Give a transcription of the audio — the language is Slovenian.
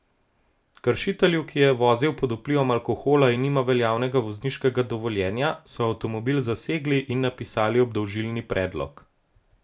Kršitelju, ki je vozil pod vplivom alkohola in nima veljavnega vozniškega dovoljenja, so avtomobil zasegli in napisali obdolžilni predlog.